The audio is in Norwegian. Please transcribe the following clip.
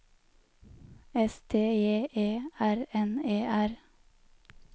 S T J E R N E R